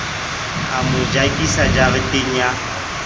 a mo jakisa jareteng ya